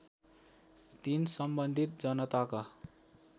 ३ सम्बन्धित जनताका